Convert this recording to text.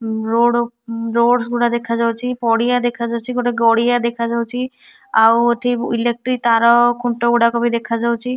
Road roads ଗୁରା ଦେଖାଯାଉଛି ପଡିଆ ଦେଖାଯାଉଛି ଗୋଟେ ଗଡିଆ ଦେଖା ଯାଉଛି ଆଉ ଏଠି ଇଲେକ୍ଟ୍ରି ତାର ଖୁଣ୍ଟ ଗୁଡାକ ବି ଦେଖାଯାଉଛି।